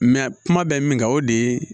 kuma bɛ min kan o de ye